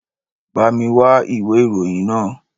Bá mi wá ìwé ìròyìn náà